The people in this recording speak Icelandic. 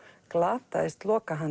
glataðist